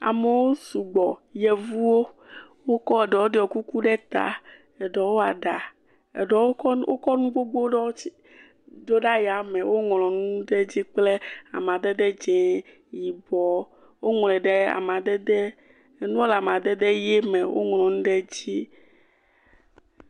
Amewo sugbɔ. Yevuwo, wokɔ, ɖewo ɖiɔ kuku ɖe ta. Eɖewo kɔ nu wokɔ nu gbogbo ɖewo tsi, ɖo ɖe ayame. Woŋlɔ nuɖe dzi kple amadede dzẽe, yibɔ. Woŋlɔe ɖe amadede, enua le amadede yee me. Woŋlɔ nu ɖe edzi.